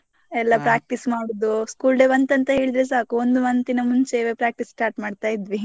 practice ಮಾಡುದು school day ಬಂತು ಅಂತ ಹೇಳಿದ್ರೆ ಸಾಕು ಒಂದು month ಇನ ಮುಂಚೆವೆ practice start ಮಾಡ್ತಾ ಇದ್ವಿ.